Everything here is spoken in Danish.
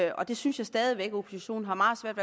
og det synes jeg stadig væk at oppositionen har meget svært